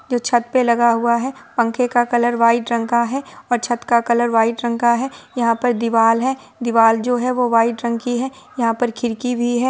जो छत पर लगा हुआ है| पंखे का कलर वाइट रंग का है और छत का कलर वाइट रंग का है| यहाँ पे दीवाल है दीवाल जो है वाइट रंग की है| यहाँ पे खिड़की भी है।